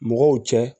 Mɔgɔw cɛ